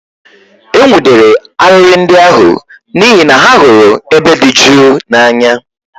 E nwụdere arịrị ndị ahụ n'ihi na ha hụrụ ebe dị jụụ n'anya